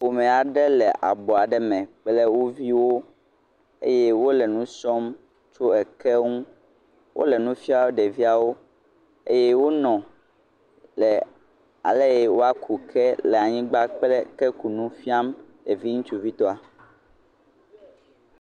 Ƒome aɖe le abɔ aɖe me kple woviwo eye wole nusrɔm tso eke nu wole nufiam ɖeviawo eye wonɔ ale woaku ke le anyigbã kple ke kunu fiam ɖevi ŋutsuvi tɔ